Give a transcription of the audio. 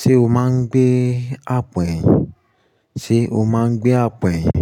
Ṣé o máa ń gbé àpò ẹ̀yìn? Ṣé o máa ń gbé àpò ẹ̀yìn?